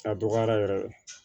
A dɔgɔyara yɛrɛ